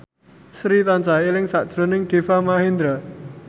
Sri tansah eling sakjroning Deva Mahendra